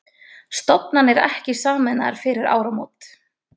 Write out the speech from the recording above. Stofnanir ekki sameinaðar fyrir áramót